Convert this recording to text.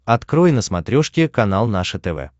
открой на смотрешке канал наше тв